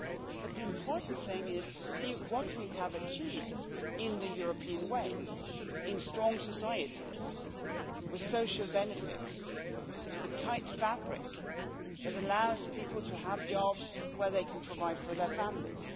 But the important thing is to see what we have achieved in the European way, in strong societies with social benefits, with a tight fabric that allows people to have jobs where they can provide for their families.